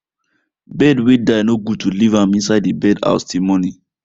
bird way die no good to leave am inside the bird house till morning